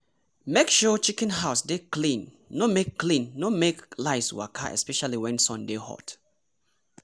make sure chicken house dey clean no make clean no make lice waka especially when sun dey hot!